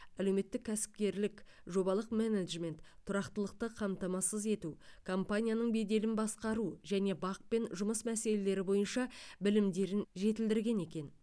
әлеуметтік кәсіпкерлік жобалық менеджмент тұрақтылықты қамтамасыз ету компанияның беделін басқару және бақ пен жұмыс мәселелері бойынша білімдерін жетілдірген екен